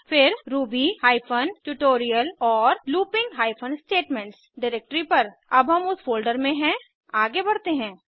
फिर Ruby hyphen tutorial और looping hyphen statements directory पर अब हम उस फोल्डर में हैं आगे बढ़ते हैं